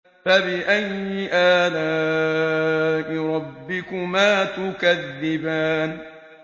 فَبِأَيِّ آلَاءِ رَبِّكُمَا تُكَذِّبَانِ